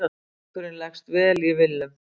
Leikurinn leggst vel í Willum.